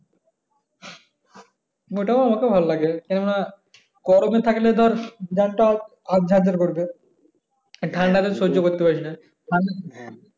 ওইটাও আমাকেও ভালো লাগে কেনো না গরমে থাকলে ধর যার টা আজ্জার করবে ঠাণ্ডা তো সহ্য করতে পারিস না